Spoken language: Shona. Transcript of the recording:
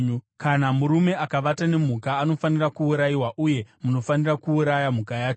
“ ‘Kana murume akavata nemhuka anofanira kuurayiwa uye munofanira kuuraya mhuka yacho.